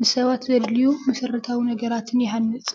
ንሰባት ዘድልዩ መሰረታዊ ነገራትን ይሃንፅ።